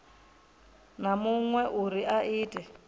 na muṅwe uri a ite